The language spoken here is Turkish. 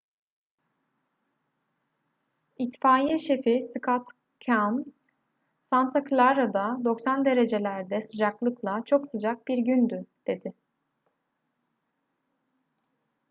i̇tfaiye şefi scott kouns santa clara'da 90 derecelerde sıcaklıkla çok sıcak bir gündü dedi